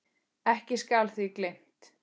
Ekki skal því gleymt.